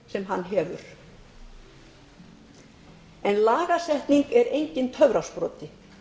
sem hann hefur en lagasetning er enginn töfrasproti